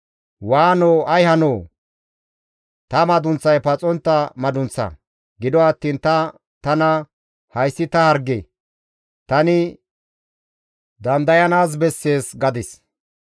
Waanoo ay hanoo! Ta madunththay paxontta madunththa. Gido attiin ta tana, «Hayssi ta harge; tani dandayanaas bessees» gadis.